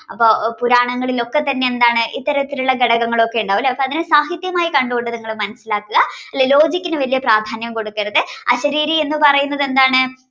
അപ്പൊ പുരാണങ്ങളിൽ ഒക്കെതന്നെയെന്താണ് ഇത്തരത്തിലുള്ള ഘടകങ്ങളൊക്കെ ഉണ്ടാവും ലെ അപ്പൊ അതിനെ സാഹിത്യമായി കണ്ടുകൊണ്ട് നിങ്ങൾ മനസ്സിലാക്കാ logic നു വല്യ പ്രാധാന്യം കൊടുക്കരുത് അശരീരി എന്ന്പറയുന്നത് എന്താണ്